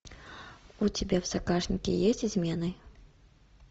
у тебя в загашнике есть измены